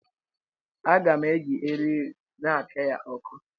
Aga m eji eriri na-apịa ya ọkụ ọkụ